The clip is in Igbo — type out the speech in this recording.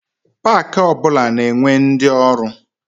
Pak ọ bụla na-enwe ndi ọrụ.